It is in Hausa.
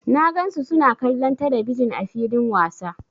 Na gan su suna kallon telebijin ã filin wasa.